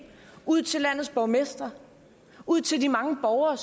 ud til landets borgmestre og ud til de mange borgere